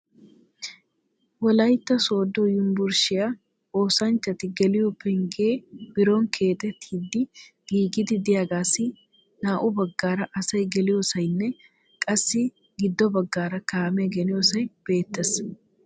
Wolaytta Sooddo Yunbburshshiyaa oosanchchati geliyo pengge biron keexettidi giigidi de'iyaagassi naa"u baggaara asay geliyoosaynne qassi gido baggaara kaame geliyoossay beettees.